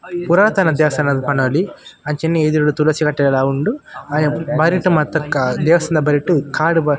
ಪುರಾತನ ದೇವಸ್ಥಾನ ಇಂದ್ ಪನೊಲಿ ಅಂಚನೆ ಎದುರುಡು ತುಳಸಿ ಕಟ್ಟೆಲ ಉಂಡು ಬರಿಟ್ ಮಾತ್ತ ದೇವಸ್ಥಾನದ ಬರಿಟ್ ಕಾರ್ --